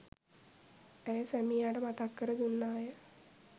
ඇය සැමියාට මතක් කර දුන්නාය.